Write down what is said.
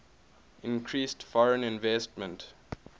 increased foreign investment